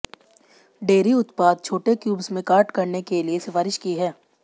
dairy उत्पाद छोटे cubes में काट करने के लिए सिफारिश की है